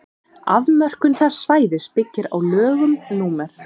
afmörkun þess svæðis byggir á lögum númer